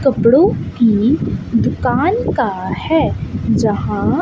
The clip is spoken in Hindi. कपड़ों की दुकान का है यहां--